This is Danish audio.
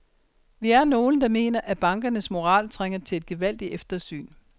Vi er nogle, der mener, at bankernes moral trænger til et gevaldigt eftersyn.